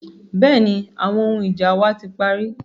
Bẹ́ẹ̀ni, àwọn ohun ija wa ti pari.